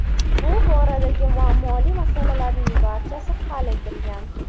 Bu boradagi muammoli masalalarning barchasi hal etilgan.